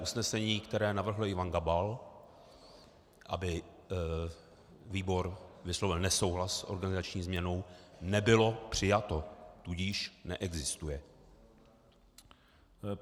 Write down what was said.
Usnesení, které navrhl Ivan Gabal, aby výbor vyslovil nesouhlas s organizační změnou, nebylo přijato, tudíž neexistuje.